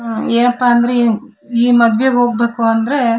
ಅಹ್ ಏನಪ್ಪಾ ಅಂದ್ರೆ ಈ ಈ ಮದುವೆಗೆ ಹೋಗ್ಬೇಕು ಅಂದ್ರೆ --